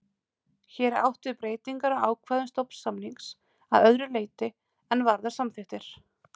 Hér er átt við breytingar á ákvæðum stofnsamnings að öðru leyti en varðar samþykktir.